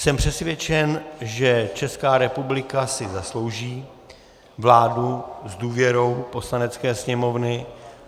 Jsem přesvědčen, že Česká republika si zaslouží vládu s důvěrou Poslanecké sněmovny.